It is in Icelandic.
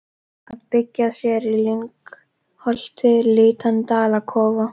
Að byggja sér í lyngholti lítinn dalakofa.